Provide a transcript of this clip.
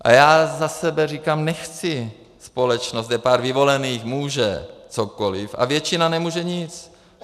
A já za sebe říkám, nechci společnost, kde pár vyvolených může cokoliv a většina nemůže nic!